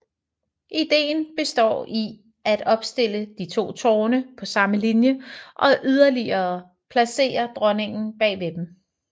Ideen består i at opstille de to tårne på samme linje og yderligere placere dronningen bag ved dem